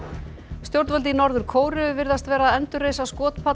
stjórnvöld í Norður Kóreu virðast vera að endurreisa